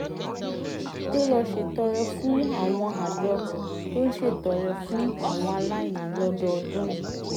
tó lọ ṣètọrẹ fún àwọn àjọ tó ń ṣètọrẹ fún àwọn aláìní lọ́dọọdún